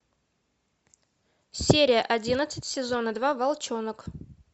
серия одиннадцать сезона два волчонок